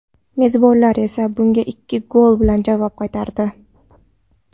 Mezbonlar esa bunga ikki gol bilan javob qaytardi.